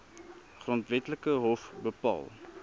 grondwetlike hof bepaal